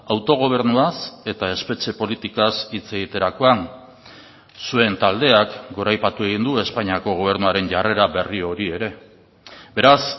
autogobernuaz eta espetxe politikaz hitz egiterakoan zuen taldeak goraipatu egin du espainiako gobernuaren jarrera berri hori ere beraz